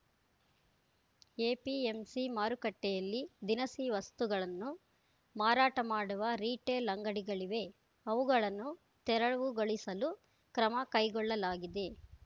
APMC ಮಾರುಕಟ್ಟೆಯಲ್ಲಿ ದಿನಸಿ ವಸ್ತುಗಳನ್ನು ಮಾರಾಟ ಮಾಡುವ ರೀಟೆಲ್‌ ಅಂಗಡಿಗಳಿವೆ ಅವುಗಳನ್ನು ತೆರವುಗೊಳಿಸಲು ಕ್ರಮ ಕೈಗೊಳ್ಳಲಾಗಿದೆ